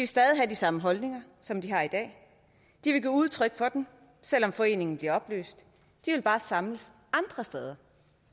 stadig have de samme holdninger som de har i dag de vil give udtryk for dem selv om foreningen bliver opløst de vil bare samles andre steder